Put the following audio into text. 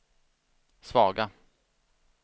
svaga